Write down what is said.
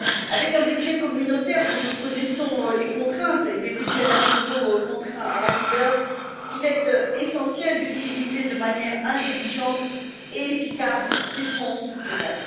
Avec un budget communautaire dont nous connaissons les contraintes et des budgets nationaux contraints à la rigueur, il est essentiel d'utiliser de manière intelligente et efficace ces fonds structurels.